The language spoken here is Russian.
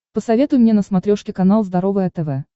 посоветуй мне на смотрешке канал здоровое тв